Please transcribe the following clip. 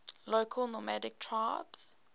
local nomadic tribes